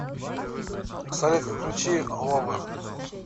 салют включи э босса лав